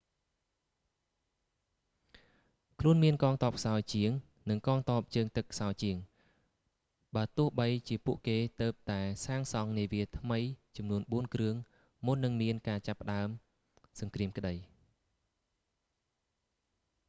ខ្លួនមានកងទ័ពខ្សោយជាង និងកងទ័ពជើងទឹកខ្សោយជាង បើទោះបីជាពួកគេទើបតែសាងសង់នាវាថ្មីចំនួនបួនគ្រឿងមុននឹងមានការចាប់ផ្តើមសង្គ្រាមក្តី